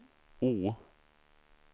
O